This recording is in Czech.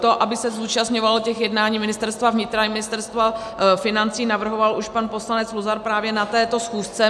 To, aby se zúčastňovalo těch jednání Ministerstva vnitra i Ministerstvo financí, navrhoval už pan poslanec Luzar právě na této schůzce.